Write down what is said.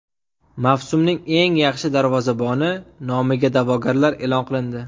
Mavsumning eng yaxshi darvozaboni nomiga da’vogarlar e’lon qilindi.